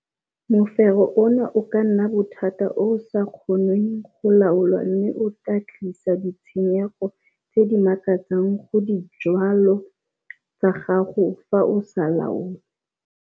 Mofero ona o ka nna bothata o o sa kgonweng go laolwa mme o ka tlisetsa ditsheneygo tse di makatsang go dijwalwa tsa gago fa o sa laolwe.